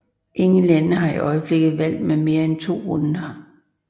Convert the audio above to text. Ingen lande har i øjeblikket valg med mere end to runder